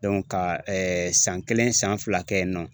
ka ɛɛ san kelen san fila kɛ yen nɔ